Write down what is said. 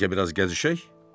Bəlkə biraz gəzişək?